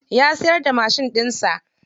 Ya siyar da mashin ɗinsa.